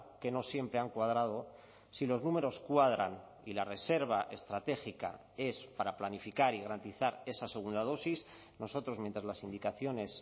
que no siempre han cuadrado si los números cuadran y la reserva estratégica es para planificar y garantizar esa segunda dosis nosotros mientras las indicaciones